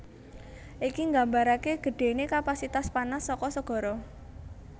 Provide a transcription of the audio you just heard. Iki nggambaraké gedhéné kapasitas panas saka segara